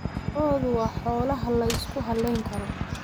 Lo'du waa xoolaha la isku halayn karo.